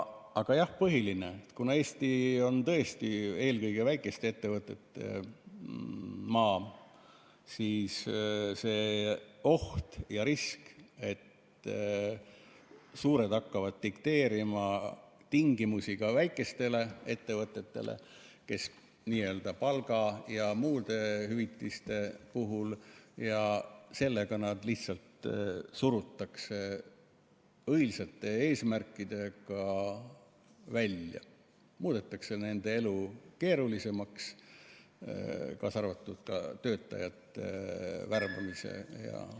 Aga jah, põhiline on see, et kuna Eesti on tõesti eelkõige väikeste ettevõtete maa, siis see oht ja risk, et suured hakkavad dikteerima tingimusi ka väikestele ettevõtetele n‑ö palga ja muude hüvitiste puhul ja sellega nad lihtsalt surutakse õilsate eesmärkide abil välja ning muudetakse keerulisemaks nende elu, kaasa arvatud töötajate värbamine.